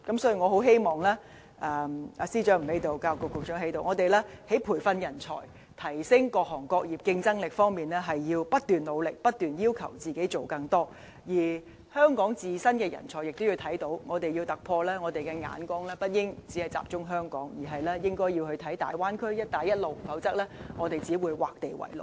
所以，雖然司長不在席，但教育局局長在席，我希望我們在培訓人才和提升各行業競爭力方面，要不斷努力，不斷要求自己做更多，而香港自身的人才亦要看到，我們若要突破，眼光不應只集中在香港，而應該看大灣區和"一帶一路"，否則我們只會劃地為牢。